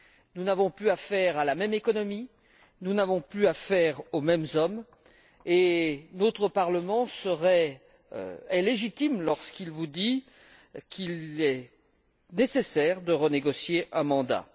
Nous n'avons plus affaire à la même économie, nous n'avons plus affaire aux mêmes hommes et notre Parlement est légitime, lorsqu'il vous dit qu'il est nécessaire de renégocier un mandat.